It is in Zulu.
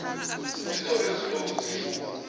zizobe zilokhu zifunwa